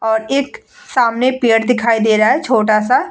और एक सामने पेड़ दिखाई दे रहा है छोटा सा --